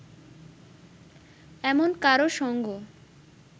এমন কারও সঙ্গ